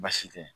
Baasi tɛ yen